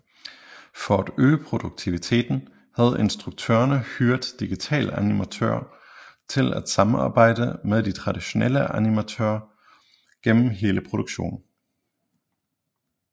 For at øge produktiviteten havde instruktørerne hyret digitalanimatører til at samarbejde med de traditionelle animatorer gennem hele produktionen